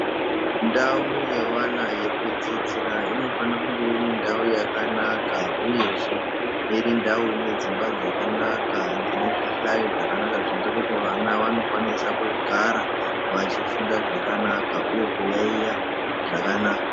Ndau yevana yekudzidzira inofana kunge iri ndau yakanaka uyezve iri ndau ine dzimba dzakanaka dzine zvihlayo zvakanaka zvinoita kuti vana vanokwanisa kugara vachifunda zvakanaka uye kuyaiya zvakanaka.